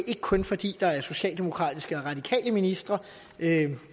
ikke kun fordi der er socialdemokratiske og radikale ministre